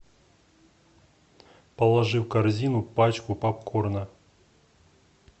положи в корзину пачку попкорна